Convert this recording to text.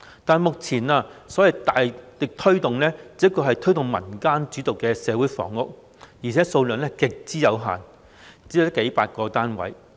但是，目前的所謂"大力推動"，只是推動民間主導的社會房屋共享計劃，而且供應量極之有限，只有區區數百個單位。